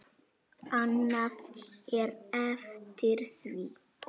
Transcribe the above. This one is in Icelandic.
Annað er eftir því.